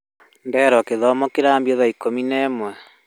Nderwo gĩthomo kĩrambia thaa ikũmi na ĩmwe